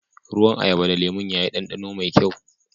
Ruwan ayaba da lemum ya yi danɗano mai kyau.